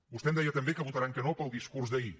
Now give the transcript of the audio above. vostè em deia també que votaran que no pel discurs d’ahir